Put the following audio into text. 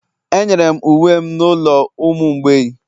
Enyere m uwe m n'ụlọ ụmụ mgbei